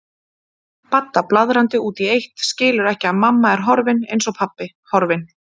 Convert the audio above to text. Badda blaðrandi út í eitt, skilur ekki að mamma er horfin, eins og pabbi, horfin.